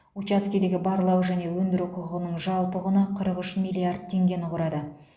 учаскедегі барлау және өндіру құқығының жалпы құны қырық үш миллиард теңгені құрады